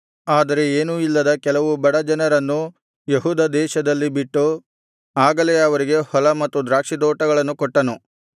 ಆದರೆ ಏನೂ ಇಲ್ಲದ ಕೆಲವು ಬಡ ಜನರನ್ನು ಯೆಹೂದ ದೇಶದಲ್ಲಿ ಬಿಟ್ಟು ಆಗಲೇ ಅವರಿಗೆ ಹೊಲ ಮತ್ತು ದ್ರಾಕ್ಷಿತೋಟಗಳನ್ನು ಕೊಟ್ಟನು